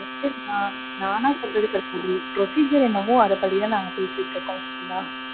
நானா சொல்றது கிடையாது. procedure என்னவோ அதபடி தான் நாங்க பேசிட்டு இருக்கோம். okay ங்களா.